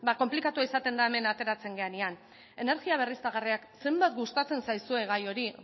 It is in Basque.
konplikatua izaten da hemen ateratzen garenean energia berriztagarriak zenbat gustatzen zaizuen gai hori